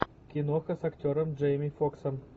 киноха с актером джейми фоксом